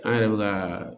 An yɛrɛ bɛ ka